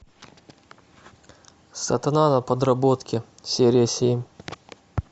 сатана на подработке серия семь